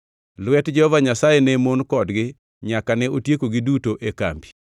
Lwet Jehova Nyasaye ne mon kodgi nyaka ne otiekogi duto e kambi.